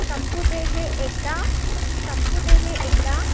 संपु दे हे एकदा, संपु दे हे एकदा